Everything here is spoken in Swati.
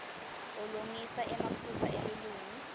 ulungisa emaphutsa elulwimi